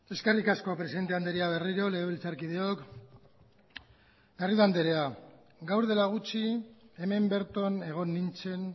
eskerrik asko presidente andrea berriro legebiltzarkideok garrido andrea gaur dela gutxi hemen berton egon nintzen